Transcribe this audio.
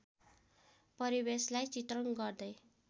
परिवेशलार्इ चित्रण गर्दै